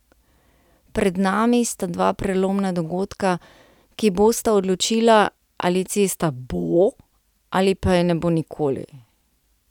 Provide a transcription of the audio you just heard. Pred nami sta dva prelomna dogodka, ki bosta odločila, ali cesta bo ali pa je ne bo nikoli.